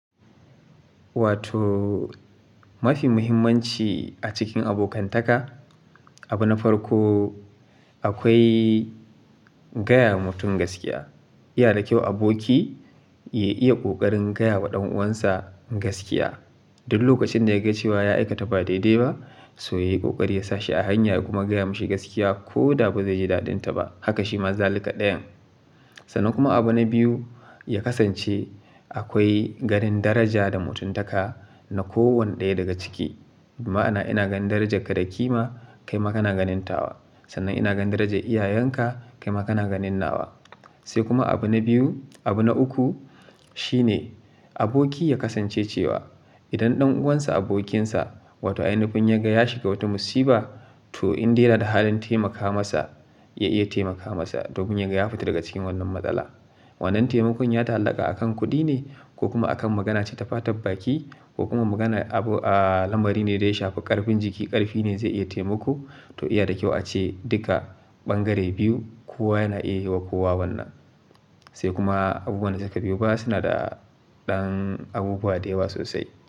Wato mafi muhimmanci a cikin abokantaka, abu na farko akwai gaya wa mutum gaskiya. Yana da kyau aboki ya iya ƙoƙarin gaya wa ɗan uwansa gaskiya. Duk lokacin da ya ga cewa ya aikata ba daidai ba, sai ya yi ƙoƙari ya sashi a hanya kuma gaya mashi gaskiya ko da ba zai ji daɗinta ba. Haka shi ma zalika ɗayan. Sannan kuma abu na biyu, ya kasance akwai garin daraja da mutuntaka na kowane ɗaya daga ciki. Ma'ana ina ganin darajarka da ƙima kai ma kana ganinta wa. Sannan ina ganin darajar iyayenka kai ma kana ganin nawa. Sai kuma abu na biyu, abu na uku shine aboki ya kasance cewa idan ɗan uwansa, abokinsa wato a yanayin kun yaga ya shiga wata musiba, to in dai yana da halin taimaka masa, ya iya taimaka masa domin yaga ya fita daga cikin wannan matsala. Wannan taimakon ya ta hallaka a kan kuɗi ne ko kuma a kan magana ce ta fataɓɓaki ko kuma maganar abu, aa lambari ne dai shaƙa ƙarfin jiki ƙarfi ne zai iya taimako, to iya da kyau ace duka ɓangare biyu kowa yana iya yi wa kowa wannan. Sai kuma abubuwan zaka biyon ba suna da ɗan abubuwa da yawa sosai.